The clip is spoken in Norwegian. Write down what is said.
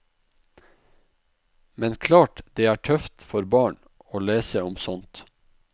Men klart det er tøft for barn å lese om sånt.